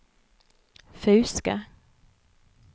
Fauske